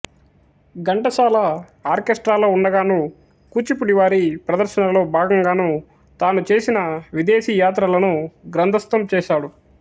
ఘంటసాల ఆర్కెష్ట్రాలో ఉండగాను కూచిపూడి వారి ప్రదర్శనలో భాగం గాను తాను చేసిన విదేశీ యాత్రలను గ్రంథస్థం చేసాడు